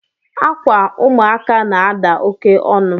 Akwa ụmụaka na-ada oke onu